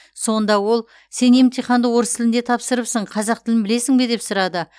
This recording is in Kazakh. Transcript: сонда ол сен емтиханды орыс тілінде тапсырыпсың қазақ тілін білесің бе деп сұрады